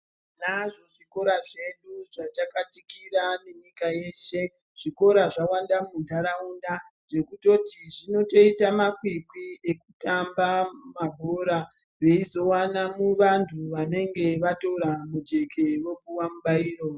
Tinazvo zvikora zvedu zvajakatikira nenyika yeshe, zvikora zvawanda munharaunda zvekutoti zvinotoita makwikwi ekutamba mabhora veizowana vanthu vanenge vatora mujeke vopuwa mubairo.